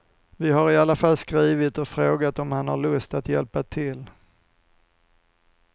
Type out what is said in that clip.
Vi har i alla fall skrivit och frågat om han har lust att hjälpa till.